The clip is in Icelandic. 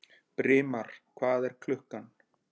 Brimar, hvað er klukkan?